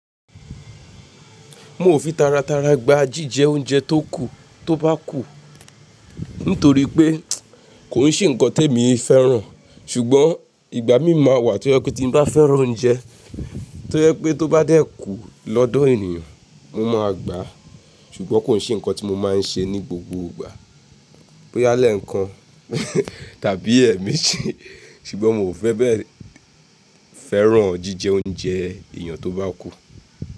Mo ò fi tara tara gba jíjẹ oúnjẹ tó kù tó bá kú, nítorí pé kò n ṣe nǹkan te mi fẹ́ràn. Ṣùgbọ́n ìgbà mi máa wà tí ó jẹ pé tí mo bá fẹ́ràn oúnjẹ, tí ó jẹ pé tó bá dẹ́ kú lọ́dọ̀ ènìyàn, mo máa gbà á. Ṣùgbọ́n kò n ṣe nǹkan tí mo máa ń ṣe ní gbogbo ìgbà, bóyá lẹ́ẹ̀kan tàbí ẹ̀mí ji. Ṣùgbọ́n mi ò fẹ́ bẹ́ẹ̀ fẹ́ràn jíjẹ oúnjẹ ènìyàn tó bá kú.